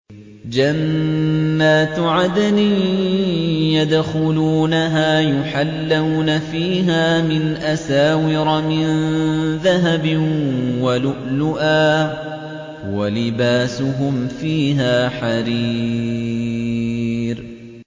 جَنَّاتُ عَدْنٍ يَدْخُلُونَهَا يُحَلَّوْنَ فِيهَا مِنْ أَسَاوِرَ مِن ذَهَبٍ وَلُؤْلُؤًا ۖ وَلِبَاسُهُمْ فِيهَا حَرِيرٌ